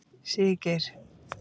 Siggeir